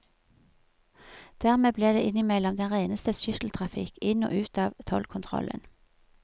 Dermed ble det innimellom den reneste skytteltrafikk inn og ut av tollkontrollen.